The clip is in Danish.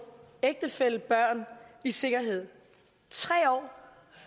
ægtefælle og børn i sikkerhed tre år